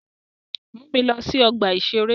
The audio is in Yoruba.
Mu mi lọ sí ọgbà-ìṣeré